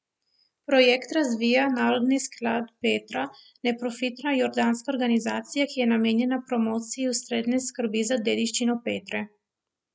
Projekt razvija Narodni sklad Petra, neprofitna jordanska organizacija, ki je namenjena promociji ustrezne skrbi za dediščino Petre.